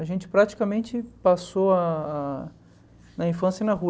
A gente praticamente passou ah ah na infância na rua.